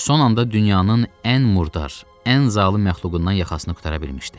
Son anda dünyanın ən murdar, ən zalım məxluqundan yaxasını qurtara bilmişdi.